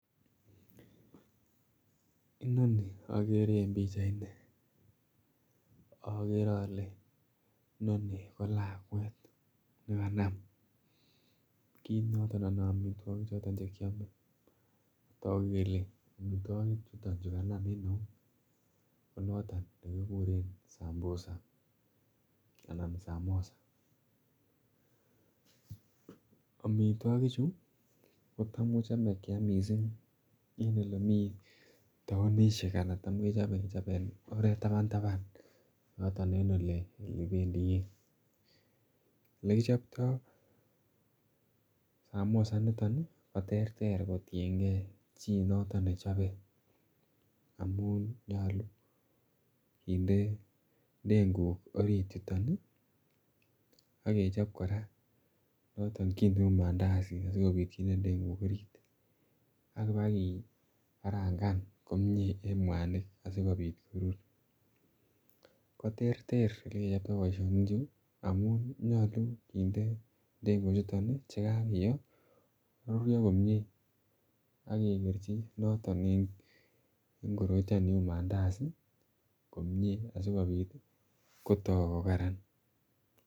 Inoni okere en pichaini okere ole noni ko lakwet nekanam kit noton anan omitwokik choton chekiome toku kele omitwokik chuton chukanam en eut konoton nekikure sambusa ana samosa. Omitwokik chuu kotam kechome kiam missing en olemii townishek ana tam Kechome kechob en oret taban taban yoton en olependii bik olekichoptoo [ca]samosa niton nii koterter koterter kotiyengee chii noton nechobe amun nyolu kinde ndenguk orit yuton nii ak kechobe Koraa noton kii neu Mandazi asikopit kinde ndenguk orit, akipa kii karangan komie en muanik asikopit korur koterter olekichoptoo boishoni chuu amun nyolu kinde ndenguk chuton nii chekakiyo koruryo komie ak kekerchi noton en koroiton niu Mandazi komie asikopit kotok ko Karan.